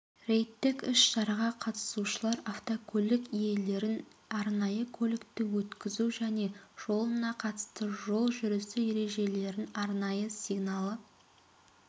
рейдтік іс-шараға қатысушылар автокөлік иелерін арнайы көлікті өткізу және жолына қатысты жол жүрісі ережелерін арнайы сигналы